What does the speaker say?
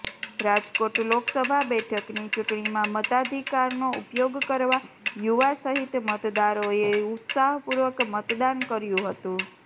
રાજકોટ લોકસભા બેઠકની ચૂંટણીમાં મતાધિકારનો ઉપયોગ કરવા યુવા સહિત મતદારોએ ઉત્સાહપૂર્વક મતદાન કર્યુ હતું